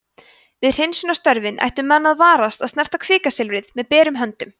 við hreinsunarstörfin ættu menn að varast að snerta kvikasilfrið með berum höndum